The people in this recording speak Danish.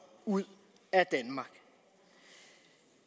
ud af danmark